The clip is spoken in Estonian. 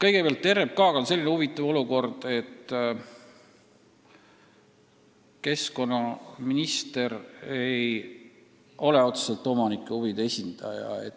Kõigepealt, RMK puhul on selline huvitav olukord, et keskkonnaminister ei ole otseselt omaniku huvide esindaja.